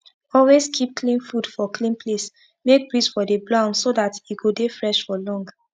always keep clean fud for clean place make breeze for dey blow am so dat e go dey fresh for long